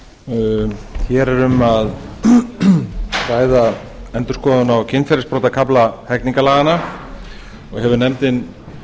hér er um að ræða endurskoðun á kynferðisbrotakafla hegningarlaganna og hefur nefndin